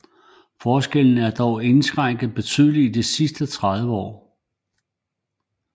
Forskellen er dog indskrænket betydeligt i de sidste 30 år